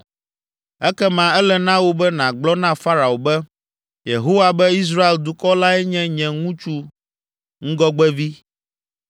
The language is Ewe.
Ekema, ele na wò be nàgblɔ na Farao be, ‘Yehowa be, Israel dukɔ lae nye nye ŋutsu ŋgɔgbevi.